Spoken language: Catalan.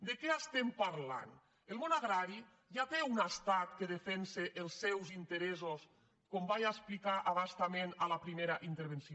de què estem parlant el món agrari ja té un estat que defensa els seus interessos com vaig ex·plicar a bastament en la primera intervenció